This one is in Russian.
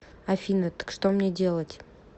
афина так что мне делать